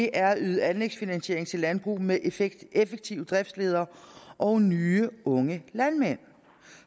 er at yde anlægsfinansiering til landbrug med effektive driftsledere og nye unge landmænd